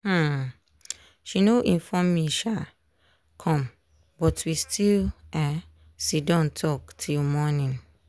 um she no inform me um come but we still um sitdon talk till morning.